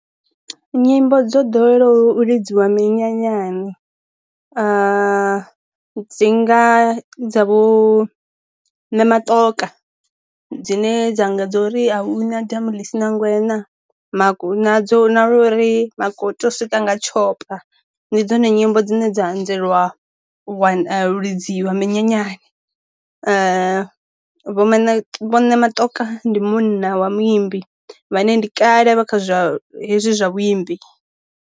Nyimbo dzo ḓowela u lidziwa minyanyani a dzinga dza vho matokha dzine dzanga dza uri a hu na damu ḽisi nangwe nadzo na uri u swika nga tshi ṱhompha ndi dzone nyimbo dzine dza anzelwa wa lidziwa minyanyani vho maine vhone matokha ndi munna wa muimbi vha ne ndi kale vha kha zwa hezwi zwa vhulimi.